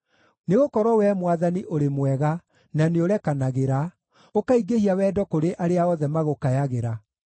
Nĩgũkorwo Wee Mwathani ũrĩ mwega na nĩũrekanagĩra, ũkaingĩhia wendo kũrĩ arĩa othe magũkayagĩra.